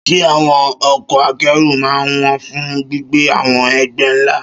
Ṣé àwọn ọkọ̀ akẹ́rù máa ń wọ́n fún gbígbé àwọn ẹgbẹ́ ńlá?